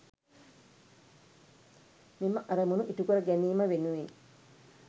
මෙම අරමුණු ඉටු කර ගැනීම වෙනුවෙන්